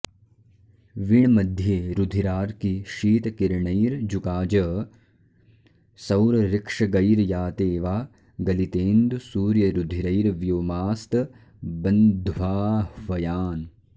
विण् मध्ये रुधिरार्कि शीत किरणैर्जूकाज सौरऋक्षगैर्याते वा गलितेन्दु सूर्यरुधिरैर्व्योमास्त बन्ध्वाह्वयान्